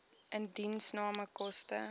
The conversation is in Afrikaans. indiensname koste